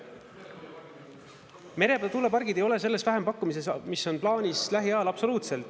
Meretuulepargid ei ole sellest vähempakkumises, mis on plaanis lähiajal, absoluutselt.